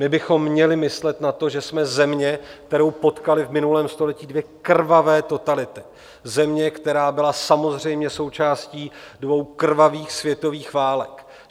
My bychom měli myslet na to, že jsme země, kterou potkaly v minulém století dvě krvavé totality, země, která byla samozřejmě součástí dvou krvavých světových válek.